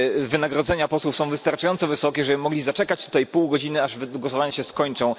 Wynagrodzenia posłów są wystarczająco wysokie, żeby mogli zaczekać tutaj pół godziny, aż głosowania się skończą.